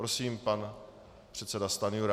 Prosím, pan předseda Stanjura.